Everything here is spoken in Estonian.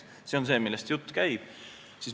See on see, millest jutt käib.